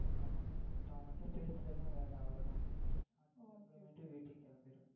இப்போ அவன்கிட்ட பேசுறது தான் வேல அவ்ளோதான். அதுக்கு அப்புறம் வீட்டிற்கு கிளம்பிடுவேன்